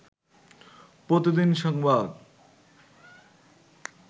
প্রতিদিন সংবাদ